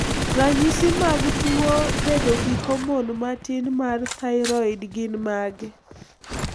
Ranyisi mag tuo bedo gi homon matin mar thyroid gin mage?